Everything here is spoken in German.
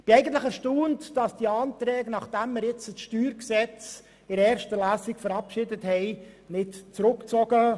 Ich bin eigentlich erstaunt, dass diese Anträge nicht zurückgezogen worden sind, nachdem wir nun das StG in der ersten Lesung verabschiedet haben.